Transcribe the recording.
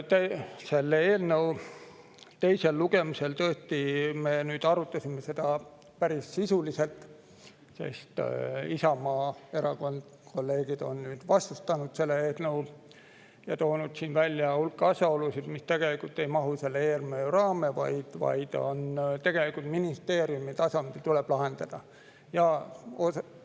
Selle eelnõu teisel lugemisel me tõesti arutasime seda päris sisuliselt, sest kolleegid Isamaa Erakonnast on hakanud seda eelnõu vastustama ja on toonud välja hulga asjaolusid, mis ei mahu selle eelnõu raamesse, vaid tuleb tegelikult lahendada ministeeriumide tasandil.